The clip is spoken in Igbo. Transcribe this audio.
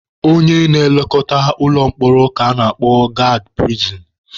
Onye na-elekọta ụlọ mkpọrọ ka a na-akpọ gaadị pirisin.